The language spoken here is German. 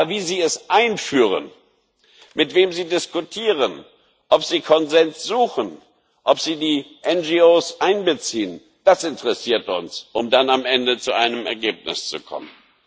Aber wie sie es einführen, mit wem sie diskutieren, ob sie Konsens suchen, ob sie die NGOs einbeziehen das interessiert uns, um dann am Ende zu einem Ergebnis zu kommen.